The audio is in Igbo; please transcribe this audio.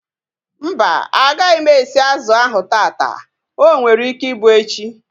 Mba, agaghị m esi azụ ahu taata. O nwere ike ịbụ echi